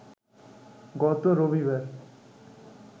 গত রবিবার